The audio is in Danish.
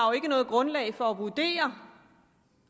noget grundlag for at vurdere